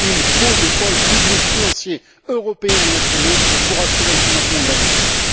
Il faut des pôles publics financiers, européens et nationaux, pour assurer le financement de l'industrie.